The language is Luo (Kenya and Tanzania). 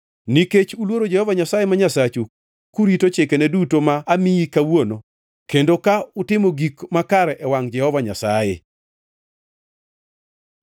Nikech uluoro Jehova Nyasaye ma Nyasachu, kurito chikene duto ma amiyi kawuono kendo ka utimo gik makare e wangʼ Jehova Nyasaye.